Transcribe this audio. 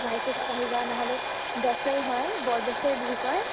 ভাই ফোটাত আহিবা নহ'লে দছ তাৰিখ হয় বৰদেছে বুলি কয়